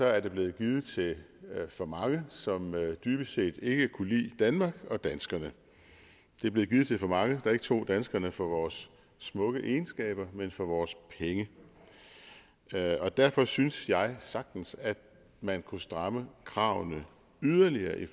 er det blevet givet til for mange som dybest set ikke kunne lide danmark og danskerne det er blevet givet til for mange der ikke tog danskerne for vores smukke egenskaber men for vores penge derfor synes jeg sagtens at man kunne stramme kravene yderligere i